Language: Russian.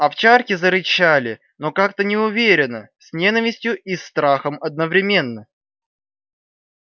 овчарки зарычали но как-то неуверенно с ненавистью и страхом одновременно